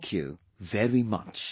Thank you very very much